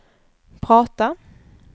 prata